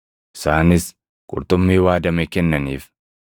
Isaanis qurxummii waadame kennaniif;